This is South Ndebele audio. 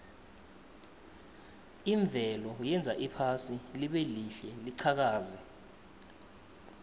imvelo yenza iphasi libelihle liqhakaze